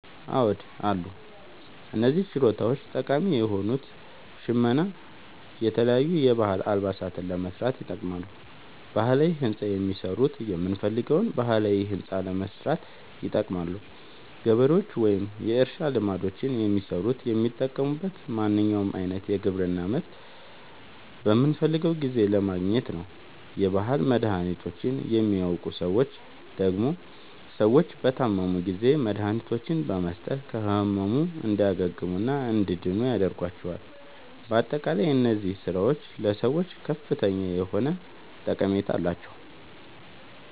አዎድ አሉ። እነዚህ ችሎታዎች ጠቃሚ የሆኑት ሸመና የተለያዩ የባህል አልባሳትን ለመስራት ይጠቅማሉ። ባህላዊ ህንፃ የሚሠሩት የምንፈልገዉን ባህላዊ ህንፃ ለማሠራት ይጠቅማሉ። ገበሬዎች ወይም የእርሻ ልማዶችን የሚሠሩት የሚጠቅሙት ማንኛዉንም አይነት የግብርና ምርት በምንፈልገዉ ጊዜ ለማግኘት ነዉ። የባህል መድሀኒቶችን የሚያዉቁ ሠዎች ደግሞ ሰዎች በታመሙ ጊዜ መድሀኒቶችን በመስጠት ከህመሙ እንዲያግሙና እንዲድኑ ያደርጓቸዋል። በአጠቃላይ እነዚህ ስራዎች ለሰዎች ከፍተኛ የሆነ ጠቀሜታ አላቸዉ።